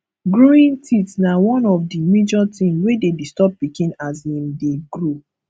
growing teeth na one of the major thing wey de disturb pikin as him de grow